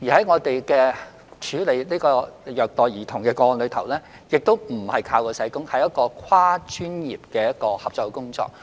我們處理虐待兒童個案時，亦非單靠社工，而是有跨專業的合作。